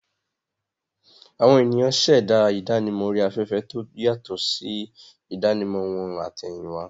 Àwọn ènìyàn ṣẹ̀dá ìdánimọ̀ orí afẹ́fẹ́ tó yàtọ̀ sí ìdánimọ̀ wọn àtẹ̀yìnwá.